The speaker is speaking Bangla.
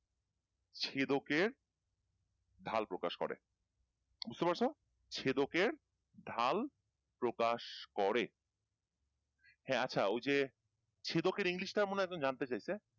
ছেদকের ঢাল প্রকাশ করে বুঝতে পারছো ছেদকের ঢাল প্রকাশ করে হ্যাঁ আচ্ছা ওই যে ছেদকের english টা মনেহয় একজন জানতে চেয়েছে